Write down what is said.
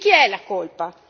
Di chi è la colpa?